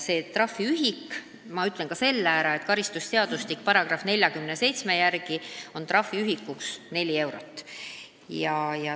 Too trahviühik, ma ütlen ka selle ära, on karistusseadustiku § 47 järgi 4 eurot.